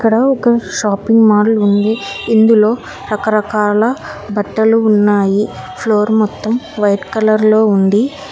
ఇందులో ఒక shopping mall ఉంది ఇందులో రకరకాల బట్టలు ఉన్నాయి ఫ్లోర్ మొత్తం వైట్ కలర్ లో ఉంది.